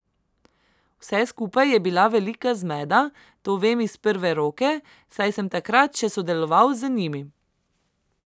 Vse skupaj je bila velika zmeda, to vem iz prve roke, saj sem takrat še sodeloval z njimi.